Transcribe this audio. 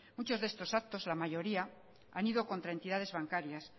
muchos de estos actos la mayoría han ido contra entidades bancarias